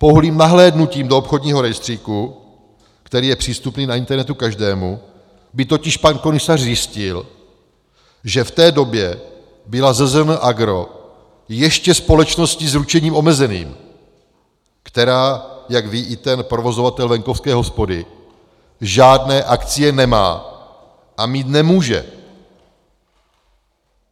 Pouhým nahlédnutím do obchodního rejstříku, který je přístupný na internetu každému, by totiž pan komisař zjistil, že v té době byla ZZN AGRO ještě společností s ručením omezeným, která, jak ví i ten provozovatel venkovské hospody, žádné akcie nemá a mít nemůže.